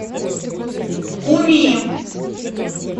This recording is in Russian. куми